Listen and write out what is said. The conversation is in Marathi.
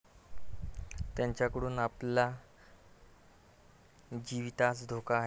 त्यांच्याकडून आपल्या जीवितास धोका आहे.